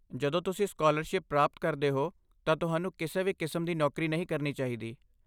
ਜਦੋਂ ਤੁਸੀਂ ਸਕਾਲਰਸ਼ਿਪ ਪ੍ਰਾਪਤ ਕਰਦੇ ਹੋ ਤਾਂ ਤੁਹਾਨੂੰ ਕਿਸੇ ਵੀ ਕਿਸਮ ਦੀ ਨੌਕਰੀ ਨਹੀਂ ਕਰਨੀ ਚਾਹੀਦੀ।